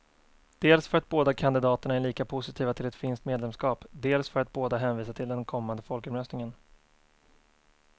Dels för att båda kandidaterna är lika positiva till ett finskt medlemskap, dels för att båda hänvisar till den kommande folkomröstningen.